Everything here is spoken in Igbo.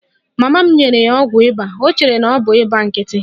Mama m nyere ya ọgwụ ịba, o chere na ọ bụ ịba nkịtị.